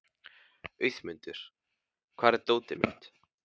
Auðmundur, hvar er dótið mitt?